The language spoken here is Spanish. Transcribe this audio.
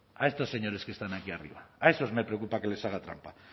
a estos señores que están aquí arriba a esos me preocupa que les haga trampa